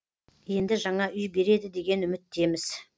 енді жаңа үй береді деген үміттеміз